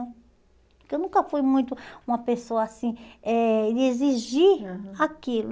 Porque eu nunca fui muito uma pessoa, assim, eh de exigir aham aquilo.